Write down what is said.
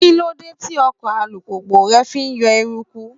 Kíló dé tí ọkọ̀ alùpùpù rẹ fi yọ eruku?